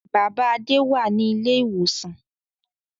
Bàbá Adé wà ní ilé-ìwòsàn.